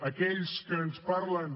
aquells que ens parlen